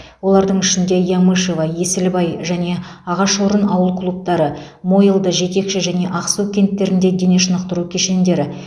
олардың ішінде ямышево есілбай және ағашорын ауыл клубтары мойылды жетекші және ақсу кенттерінде дене шынықтыру кешендері